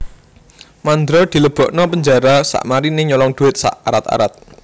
Mandra dilebokno penjara sakmarine nyolong duit sak arat arat